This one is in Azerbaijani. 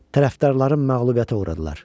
Tərəfdarlarım məğlubiyyətə uğradılar.